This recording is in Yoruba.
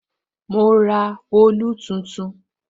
Mo ra òòlù tuntun.